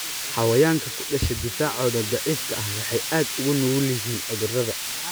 Xayawaanka ku dhasha difaacooda daciifka ah waxay aad ugu nugul yihiin cudurrada.